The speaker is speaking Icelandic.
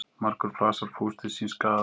Margur flasar fús til síns skaða.